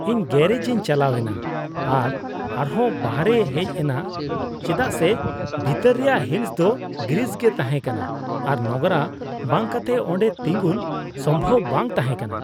ᱤᱧ ᱜᱟᱨᱮᱡ ᱤᱧ ᱪᱟᱞᱟᱣ ᱮᱱᱟ ᱟᱨ ᱟᱨᱦᱚᱸ ᱵᱟᱦᱨᱮᱧ ᱦᱮᱡ ᱮᱱᱟ ᱪᱮᱫᱟᱜ ᱥᱮ ᱵᱷᱤᱛᱟᱹᱨ ᱨᱮᱭᱟᱜ ᱦᱤᱸᱥ ᱫᱚ ᱜᱨᱤᱥ ᱜᱮ ᱛᱟᱦᱮᱸᱠᱟᱱᱟ ᱟᱨ ᱱᱚᱝᱨᱟ ᱵᱟᱝ ᱠᱟᱛᱮ ᱚᱸᱰᱮ ᱛᱤᱸᱜᱩᱱ ᱥᱚᱢᱵᱷᱚᱵ ᱵᱟᱝ ᱛᱟᱦᱮᱸ ᱠᱟᱱᱟ ᱾